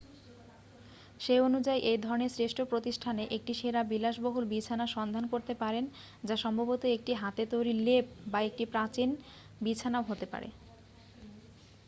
সেই অনুযায়ী এই ধরনের শ্রেষ্ঠ প্রতিষ্ঠানে একটি সেরা বিলাসবহুল বিছানা সন্ধান করতে পারেন যা সম্ভবত একটি হাতে তৈরি লেপ বা একটি প্রাচীন বিছানাও হতে পারে